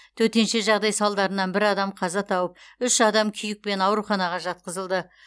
төтенше жағдай салдарынан бір адам қаза тауып үш адам күйікпен ауруханаға жатқызылды